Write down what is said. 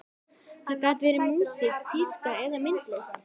Það gat verið músík, tíska eða myndlist.